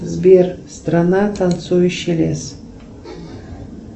сбер страна танцующий лес